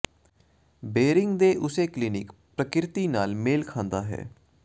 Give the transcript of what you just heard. ਬੇਇਰਿੰਗ ਦੇ ਉਸੇ ਕਲਿਨਿਕ ਪ੍ਰਕਿਰਤੀ ਨਾਲ ਮੇਲ ਖਾਂਦਾ ਹੈ